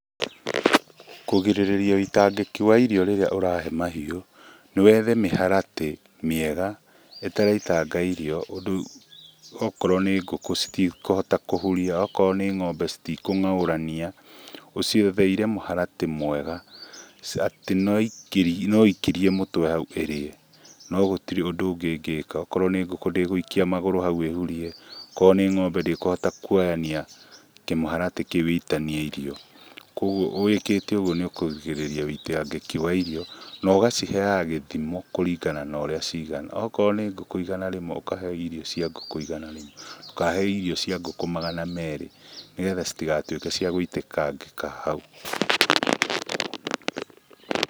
Kũgirĩrĩria ũitangĩki wa irio rĩrĩa ũrahe mahiũ nĩwethe mĩharatĩ mĩega ĩtaraitanga irio ũndũ atĩ okorwo nĩ ngũkũ citikũhota kũhuria akorwo nĩ ng'ombe citikũng'aũrania ũcietheire mũharatĩ mwega atĩ no ikirie mũtwe hau ĩrĩe no gũtirĩ undũ ũngĩ ĩngĩka, akorwo nĩ ngũkũ ndĩgũikia magũrũ hau ĩhurie akorwo nĩ ng'ombe ndĩkũhota kuoyania kĩmũharatĩ kĩu ĩitanie irio, koguo wĩkĩte ũguo nĩũkũgirĩrĩria ũitangĩkĩ wa irio na ũgaciheyaga gĩthimo kũringana naũrĩa cigana akorwo nĩ ngũkũ igana ũkahe irio cia ngũkũ igana rĩmwe ndũkahe cia ngũkũ magana merĩ nĩgetha citigatuĩke cia gũitangĩkangĩka hau.